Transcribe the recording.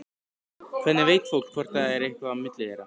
Hvernig veit fólk hvort það er eitthvað á milli þeirra?